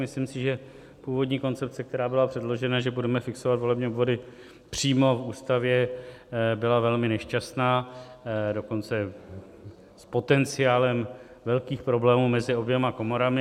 Myslím si, že původní koncepce, která byla předložena, že budeme fixovat volební obvody přímo v ústavě, byla velmi nešťastná, dokonce s potenciálem velkých problémů mezi oběma komorami.